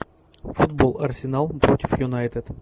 футбол арсенал против юнайтед